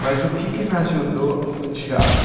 Mas o que que me ajudou, o teatro